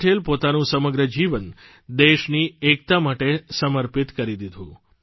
સરદાર પટેલ પોતાનું સમગ્ર જીવન દેશની એકતા માટે સમર્પિત કરી દીધું